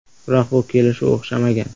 Biroq bu kelishuv o‘xshamagan.